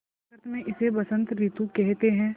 संस्कृत मे इसे बसंत रितु केहेते है